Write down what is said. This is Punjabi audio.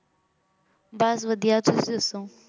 ਬਾਸ ਵਾਦਿਯ ਤੁਸੀਂ ਦਸੋ